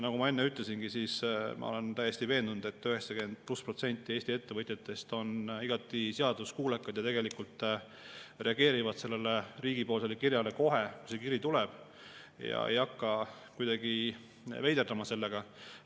Nagu ma enne ütlesin, ma olen täiesti veendunud, et üle 90% Eesti ettevõtjatest on igati seaduskuulekad ja tegelikult reageerivad sellele riigipoolsele kirjale kohe, kui see kiri tuleb, ja ei hakka kuidagi veiderdama sellega.